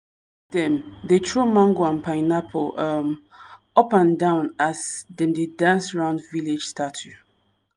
dem dey throw mango and pineapple um up and down as dem dey dance round village statue.